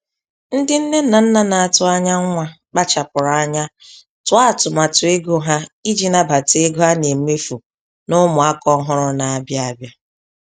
Ndị nne na nna na-atụ anya nwa kpachapụrụ anya tụọ atụmatụ ego ha iji nabata ego a na-emefụ na ụmụ aka ọhụrụ na-abịa abịa.